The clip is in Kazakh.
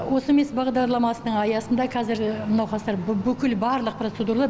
осмс бағдарламасының аясында қазір науқастар бүкіл барлық процедуралар